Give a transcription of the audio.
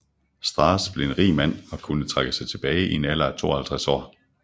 Strass blev en rig mand og kunne trække sig tilbage i en alder af 52 år